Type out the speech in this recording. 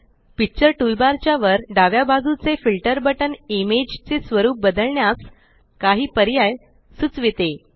picture toolbar च्या वर डाव्या बाजूचे फिल्टर बटन इमेज चे स्वरुप बदलण्यास काही पर्याय सुचविता